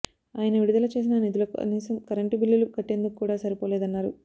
ఆయన విడుదల చేసిన నిధులు కనీసం కరెంటు బిల్లులు కట్టేందుకు కూడా సరిపోలేదన్నారు